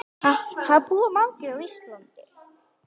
Hvað búa margir á Íslandi?